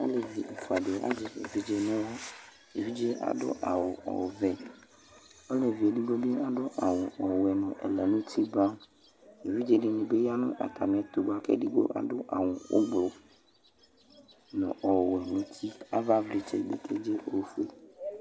Aalevi ɛfuaɖi azɛ evidze n'aɣla, evidzeɛ aɖʋ awu ɔvɛ, olevi eɖigbobi aɖʋ awu ɔwuɛ nʋ ɛlɛ nʋ uti brownEvidzeɖobi yaa n'atamiɛtʋ boa kʋ edigbo aɖʋ awu ɔblɔ nʋ ɔwuɛ n'ʋtiAvawlitsɛ bi keze' ofue